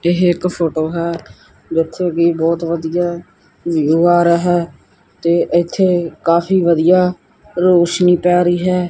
ਇਹ ਇੱਕ ਫੋਟੋ ਹੈ ਜਿੱਥੇ ਕਿ ਬਹੁਤ ਵਧੀਆ ਵਿਊ ਆ ਰਿਹਾ ਹੈ ਤੇ ਇੱਥੇ ਕਾਫੀ ਵਧੀਆ ਰੋਸ਼ਨੀ ਪੈ ਰਹੀ ਹੈ।